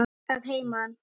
Að heiman?